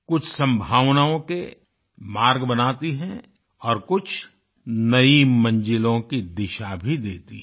कुछ संभावनाओं के मार्ग बनाती है और कुछ नई मंजिलों की दिशा भी देती है